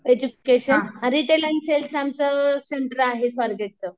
education आणि आमचं आहे स्वारगेटचं